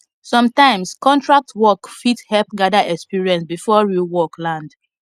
sometimes contract work fit help gather experience before real work land